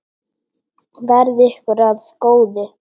Verði ykkur að góðu.